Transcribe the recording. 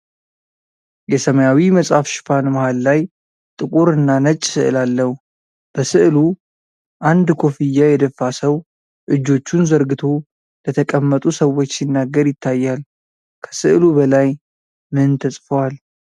የሰማያዊ መጽሐፍ ሽፋን መሀል ላይ ጥቁር እና ነጭ ስዕል አለው። በስዕሉ አንድ ኮፍያ የደፋ ሰው እጆቹን ዘርግቶ ለተቀመጡ ሰዎች ሲናገር ይታያል። ከስዕሉ በላይ ምን ተጽፈዋል?